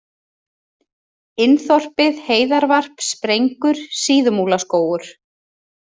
Inn-Þorpið, Heiðarvarp, Sprengur, Síðumúlaskógur